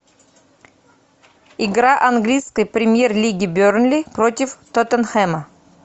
игра английской премьер лиги бернли против тоттенхэма